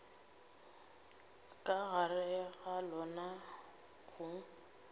ka gare ga lona go